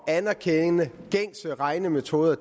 at anerkende gængse regnemetoder